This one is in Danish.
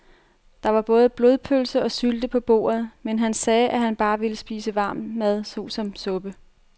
Der var både blodpølse og sylte på bordet, men han sagde, at han bare ville spise varm mad såsom suppe.